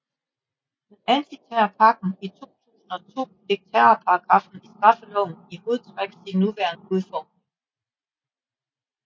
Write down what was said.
Med antiterrorpakken i 2002 fik terrorparagraffen i straffeloven i hovedtræk sin nuværende udformning